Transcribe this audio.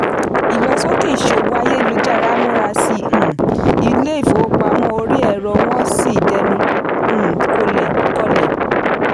ìlọsókè ìṣòwò ayélujára múra sí um ilé-ìfowópamọ́ orí-ẹ̀rọ wọn sì dẹnu um kọlẹ̀.